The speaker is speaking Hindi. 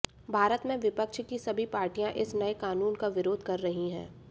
भारत में विपक्ष की सभी पार्टियां इस नए कानून का विरोध कर रही हैं